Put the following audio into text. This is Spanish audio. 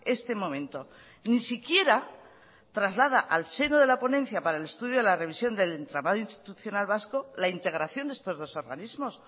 este momento ni siquiera traslada al seno de la ponencia para el estudio de la revisión del entramado institucional vasco la integración de estos dos organismos